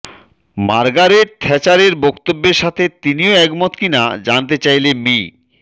Margaret থেচারের বক্তব্যের সাথে তিনিও একমত কীনা জানতে চাইলে মি